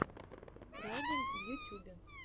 райден в ютюбе